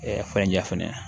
fɛnja fɛnɛ